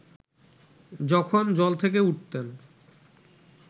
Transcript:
যখন জল থেকে উঠতেন